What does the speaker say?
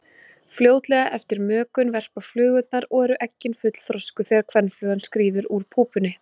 Fljótlega eftir mökun verpa flugurnar og eru eggin fullþroskuð þegar kvenflugan skríður úr púpunni.